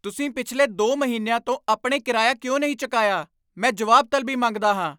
ਤੁਸੀਂ ਪਿਛਲੇ ਦੋ ਮਹੀਨਿਆਂ ਤੋਂ ਆਪਣੇ ਕਿਰਾਇਆ ਕਿਉਂ ਨਹੀਂ ਚੁਕਾਇਆ? ਮੈਂ ਜਵਾਬ ਤਲਬੀ ਮੰਗਦਾ ਹਾਂ